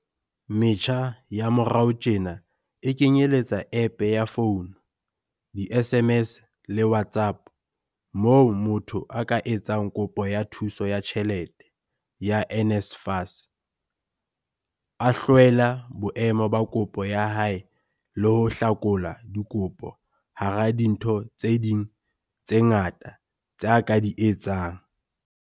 Metjha ya morao tjena e kenyeletsa App ya founu, di-SMS le WhatsApp, moo motho a ka etsang kopo ya thuso ya tjhelete ya NSFAS, a hlwela boemo ba kopo ya hae le ho hlakola dikopo hara dintho tse ding tse ngata tse a ka di etsang.